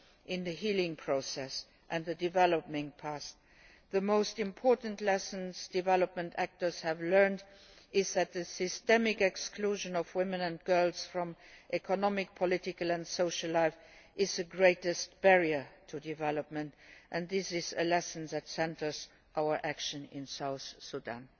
in the healing process and dealing with the past. The most important lessons development actors have learned is that the systemic exclusion of women and girls from economic, political and social life is the greatest barrier to development and this is a lesson that is at the centre of our action in South Sudan.